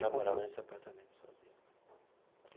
Já morava nesse apartamento sozinho.